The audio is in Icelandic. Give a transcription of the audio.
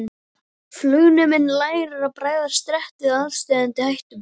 Flugneminn lærir að bregðast rétt við aðsteðjandi hættum.